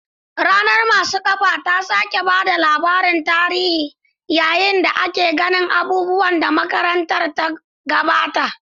Ranar masu kafa ta sake ba da labarin tarihi yayin da ake gane abubuwan da makarantar ta gabata.